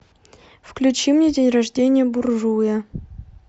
включи мне день рождения буржуя